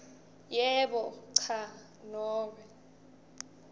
yebo cha nobe